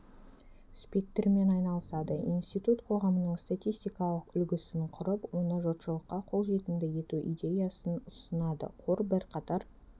спектрімен айналысады институт қоғамның статистикалық үлгісін құрып оны жұртшылыққа қолжетімді ету идеясын ұсынады қор бірқатар